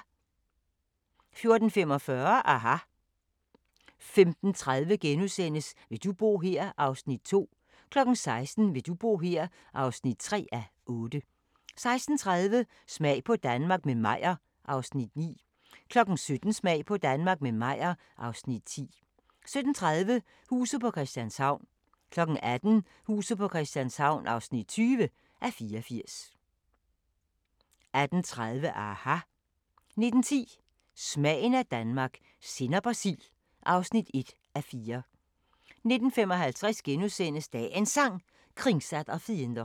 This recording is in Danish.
14:45: aHA! 15:30: Vil du bo her? (2:8)* 16:00: Vil du bo her? (3:8) 16:30: Smag på Danmark – med Meyer (Afs. 9) 17:00: Smag på Danmark – med Meyer (Afs. 10) 17:30: Huset på Christianshavn 18:00: Huset på Christianshavn (20:84) 18:30: aHA! 19:10: Smagen af Danmark – sennep og sild (1:4) 19:55: Dagens Sang: Kringsatt av fiender *